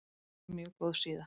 Mjög góð síða.